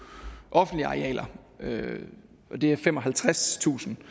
offentlige arealer af de femoghalvfjerdstusind